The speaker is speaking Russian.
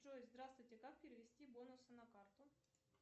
джой здравствуйте как перевести бонусы на карту